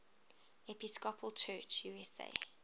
episcopal church usa